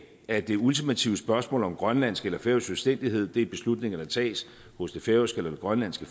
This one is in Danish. at det ultimative spørgsmål om grønlandsk eller færøsk selvstændighed er beslutninger der tages hos det færøske eller det grønlandske